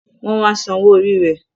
Wọn wá san owó orí rẹ